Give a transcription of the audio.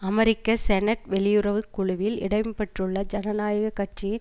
அமெரிக்க senate வெளியுறவு குழுவில் இடம்பெற்றுள்ள ஜனநாயக கட்சியின்